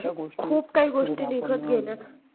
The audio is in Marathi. खूप काही गोष्टी निघत गेल्यात.